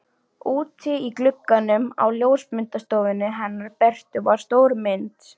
Úti í glugganum á ljósmyndastofunni hennar Bertu var stór mynd.